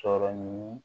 Sɔrɔ ni